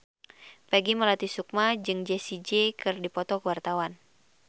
Peggy Melati Sukma jeung Jessie J keur dipoto ku wartawan